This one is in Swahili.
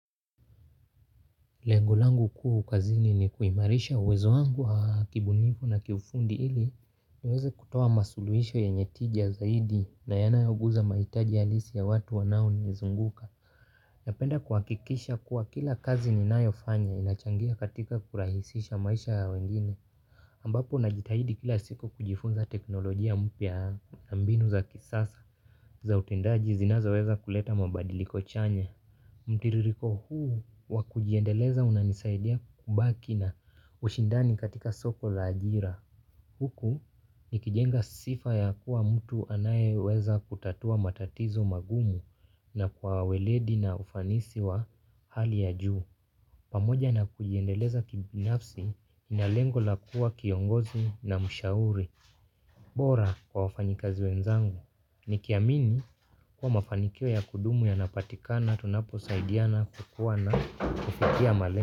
Lengo langu kuu kazini ni kuimarisha uwezo wangu wa kibunifu na kifundi ili niweze kutoa masuluhisho yenye tija zaidi na yanayoguza mahitaji halisi ya watu wanaonizunguka. Napenda kuhakikisha kuwa kila kazi ninayofanya inachangia katika kurahisisha maisha ya wengine. Ambapo najitahidi kila siku kujifunza teknolojia mpya ya mbinu za kisasa za utendaji zinazoweza kuleta mabadiliko chanya. Mtiririko huu wa kujiendeleza unanisaidia kubaki na ushindani katika soko la ajira huku nikijenga sifa ya kuwa mtu anayeweza kutatua matatizo magumu na kwa waledi na ufanisi wa hali ya juu. Pamoja na kujiendeleza kibinafsi na lengo la kuwa kiongozi na mshauri bora kwa wafanyikazi wenzangu. Nikiamini kuwa mafanikio ya kudumu yanapatikana tunaposaidiana kukuwa na kufikia male.